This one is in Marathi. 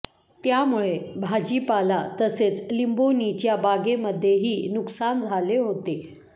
त्यामुळे भाजीपाला तसेच लिंबोणीच्या बागेमध्येही नुकसान झाले होते